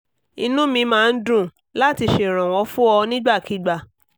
inú mi máa ń dùn láti ṣèrànwọ́ fún ọ nígbàkigbà